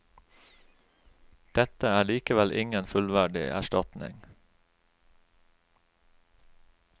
Dette er likevel ingen fullverdig erstatning.